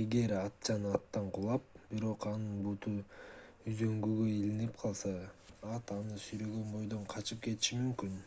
эгер атчан аттан кулап бирок анын буту үзөңгүгө илинип калса ат аны сүйрөгөн бойдон качып кетиши мүмкүн